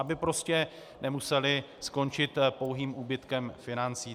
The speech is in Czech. Aby prostě nemusely skončit pouhým úbytkem financí.